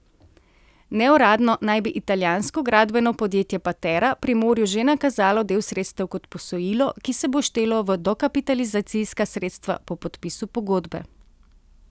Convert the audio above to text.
Neuradno naj bi italijansko gradbeno podjetje Patera Primorju že nakazalo del sredstev kot posojilo, ki se bo štelo v dokapitalizacijska sredstva po podpisu pogodbe.